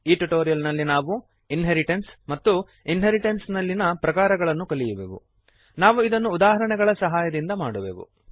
ಈ ಟ್ಯುಟೋರಿಯಲ್ ನಲ್ಲಿ ನಾವು ಇನ್ಹೆರಿಟೆನ್ಸ್ ಮತ್ತು ಇನ್ಹೆರಿಟೆನ್ಸ್ ನಲ್ಲಿನ ಪ್ರಕಾರಗಳನ್ನು ಕಲಿಯುವೆವು ನಾವು ಇದನ್ನು ಉದಾಹರಣೆಗಳ ಸಹಾಯದಿಂದ ಮಾಡುವೆವು